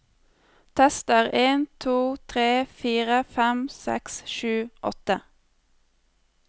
Tester en to tre fire fem seks sju åtte